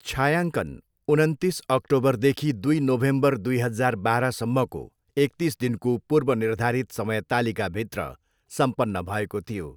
छायाङ्कन उनन्तिस अक्टोबरदेखि दुई नोभेम्बर दुई हजार बाह्रसम्मको एकतिस दिनको पूर्वनिर्धारित समयतालिकाभित्र सम्पन्न भएको थियो।